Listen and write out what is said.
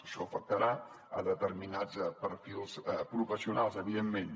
això afectarà determinats perfils professionals evidentment